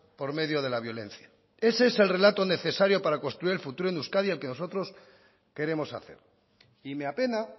por medio de la violencia ese es el relato necesario para construir el futuro de euskadi al que nosotros queremos hacer y me apena